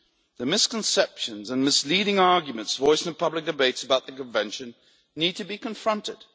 The misconceptions and misleading arguments voiced in the public debates about the Convention need to be confronted.